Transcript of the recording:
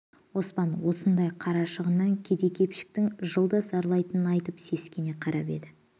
оспан осындай қарашығыннан кедей-кепшіктің жылда зарлайтынын айтып сескене қарап еді